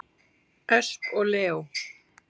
Ösp og Leó.